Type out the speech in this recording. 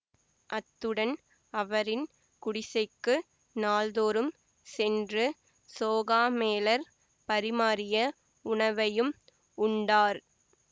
அத்துடன் அவரின் குடிசைக்கு நாள்தோறும் சென்று சோகாமேளர் பரிமாறிய உணவையும் உண்டார்